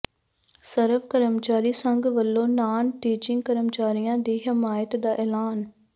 ਸਰਵ ਕਰਮਚਾਰੀ ਸੰਘ ਵਲੋਂ ਨਾਨ ਟੀਚਿੰਗ ਕਰਮਚਾਰੀਆਂ ਦੀ ਹਮਾਇਤ ਦਾ ਐਲਾਨ